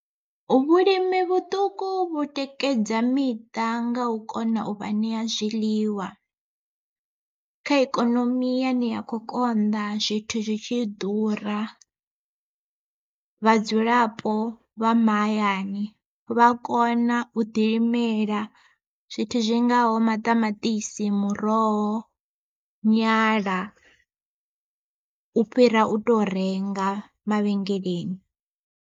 Vhulimi vhuṱuku vhu tikedza miṱa nga u kona u vha ṋea zwiḽiwa, kha ikonomi yane ya kho konḓa zwithu zwi tshi ḓura vhadzulapo vha mahayani vha kona u ḓilimela zwithu zwingaho maṱamaṱisi, muroho, nyala u fhira u to renga mavhengeleni.